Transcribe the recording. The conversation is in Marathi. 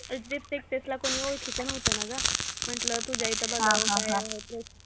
HDFCaxis ला कोणी ओळखीचं नव्हतं ना गं, म्हंटलं तुझ्या इथे बघावं काय होतं जरा